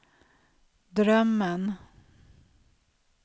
drömmen